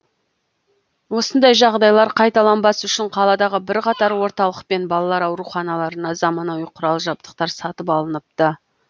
осындай жағдайлар қайталанбас үшін қаладағы бірқатар орталық пен балалар ауруханаларына заманауи құрал жабдықтар сатып алыныпты